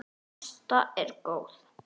Ásta er góð.